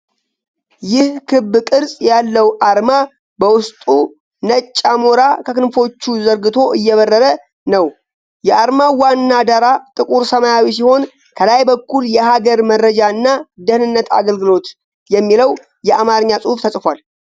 ይህ ክብ ቅርጽ ያለው አርማ በውስጡ ነጭ አሞራ ከክንፎቹ ዘርግቶ እየበረረ ነው። የአርማው ዋና ዳራ ጥቁር ሰማያዊ ነው። ከላይ በኩል “የሀገር መረጃና ደህንነት አገልግሎት” የሚለው የአማርኛ ጽሑፍ ተጽፏል።